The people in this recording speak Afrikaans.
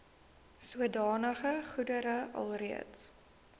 sodanige goedere alreeds